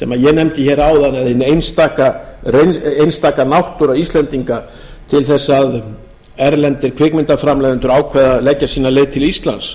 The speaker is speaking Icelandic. sem ég nefndi hér áðan eða hin einstaka náttúra íslendinga til þess að erlendir kvikmyndaframleiðendur ákveða að leggja sína leið til íslands